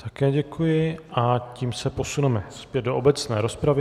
Také děkuji a tím se posuneme zpět do obecné rozpravy.